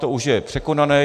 To už je překonané.